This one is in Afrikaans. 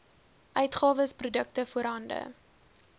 uitgawes produkte voorhande